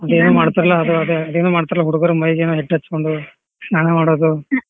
ಅದೇನೋ ಮಾಡ್ತಾರಲ್ಲ ಅದು ಅದೇ ಅದೇನೋ ಮಾಡ್ತಾರಲ್ಲ ಹುಡುಗ್ರು ಮೈಗೇನೋ ಹಿಟ್ಟ ಹಚ್ಚಗೊಂಡು ಸ್ನಾನ ಮಾಡೋದು.